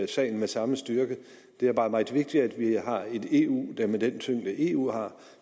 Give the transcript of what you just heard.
sagen med samme styrke det er bare meget vigtigt at vi har et eu der med den tyngde eu har